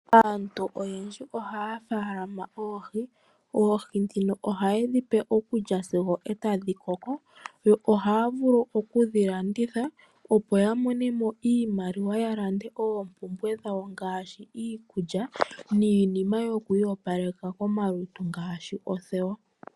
Aantu oyendji ohaya faalama oohi. Oohi ndhino ohaye dhi pe okulya sigo otadhi koko yo ohaya vulu okudhi landitha opo ya monemo iimaliwa yalande oompumbwe dhawo ngaashi, iikulya niinima yokwiiyopaleka komalutu ngaashi oothewa.